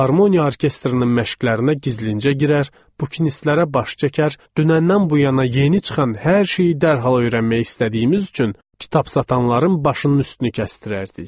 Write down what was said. Filarmoniya orkestrının məşqlərinə gizlincə girər, bukinistlərə baş çəkər, dünəndən bu yana yeni çıxan hər şeyi dərhal öyrənmək istədiyimiz üçün kitab satanların başının üstünü kəsdirərdik.